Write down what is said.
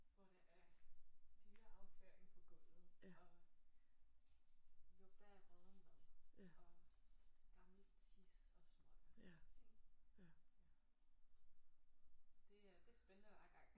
Hvor der er dyreafføring på gulvet og lugter af rådden mad og gammel tis og smøger ik ja det er det er spændende hver gang